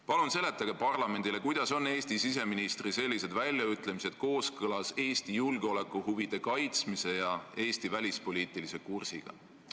Palun seletage parlamendile, kuidas on Eesti siseministri sellised väljaütlemised kooskõlas Eesti julgeolekuhuvide kaitsmise ja Eesti välispoliitilise kursiga!